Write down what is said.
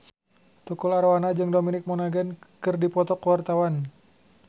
Tukul Arwana jeung Dominic Monaghan keur dipoto ku wartawan